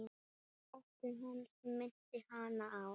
Ótti hans minnti hana á